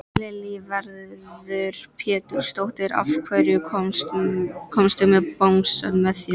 Lillý Valgerður Pétursdóttir: Af hverju komstu með bangsann með þér?